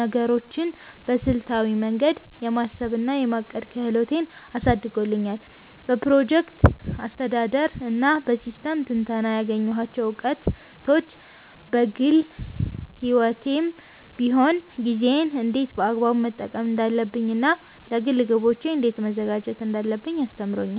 ነገሮችን በስልታዊ መንገድ የማሰብ እና የማቀድ ክህሎቴን አሳድጎታል። በፕሮጀክት አስተዳደር እና በሲስተም ትንተና ያገኘኋቸው እውቀቶች፣ በግል ሕይወቴም ቢሆን ጊዜዬን እንዴት በአግባቡ መጠቀም እንዳለብኝ እና ለግል ግቦቼ እንዴት መዘጋጀት እንዳለብኝ አስተምሮኛል።